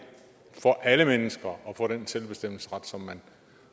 for alle mennesker at få den selvbestemmelsesret som man